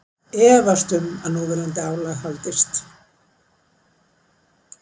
Efast um að núverandi álag haldist